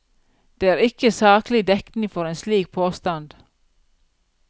Det er ikke saklig dekning for en slik påstand.